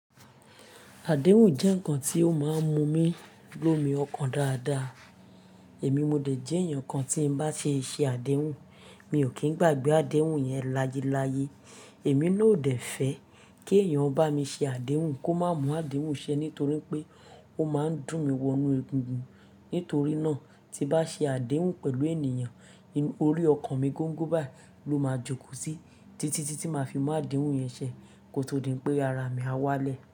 Àdéhùn jẹ́ ǹkan tí ó máa ń mú mi lomi ọkàn dáadáa. Èmi modẹ̀ jẹ́ èèyàn kan tí n bá ṣe ṣe àdéhùn, mi ò kín gbàgbé àdéhùn yẹn láyé láyé. Èmi náà ò dẹ̀ fẹ́ kí èèyàn bá mi ṣe àdéhùn kó má mú àdéhùn ṣẹ nítorí pé ó máa ń dùn mi wọnú egungun. Nítorí náà tí bá ṣe àdéhùn pẹ̀lú ènìyàn, orí ọkàn mi gọ́ńgọ́ báyìí ló máa jókòó sí, títí tí tí máa fi mú àdéhùn yẹn ṣẹ kò tó di pé ara mi á wálẹ̀